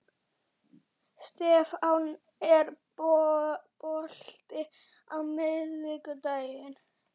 Stefán, er bolti á miðvikudaginn?